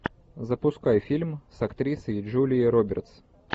запускай фильм с актрисой джулией робертс